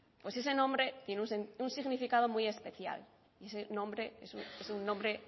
pues ese nombre tiene un significado muy especial y ese nombre es un nombre